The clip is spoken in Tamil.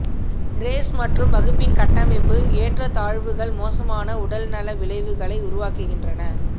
ரேஸ் மற்றும் வகுப்பின் கட்டமைப்பு ஏற்றத்தாழ்வுகள் மோசமான உடல்நல விளைவுகளை உருவாக்குகின்றன